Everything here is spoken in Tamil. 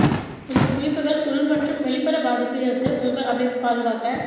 இந்த குறிப்புகள் உள் மற்றும் வெளிப்புற பாதிப்பு இருந்து உங்கள் அமைப்பு பாதுகாக்க